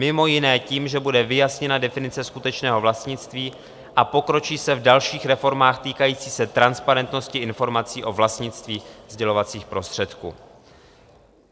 Mimo jiné tím, že bude vyjasněna definice skutečného vlastnictví a pokročí se v dalších reformách týkajících se transparentnosti informací o vlastnictví sdělovacích prostředků.